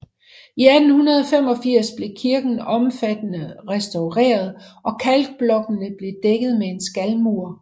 I 1885 blev kirken omfattende restaureret og kalkblokkene blev dækket med en skalmur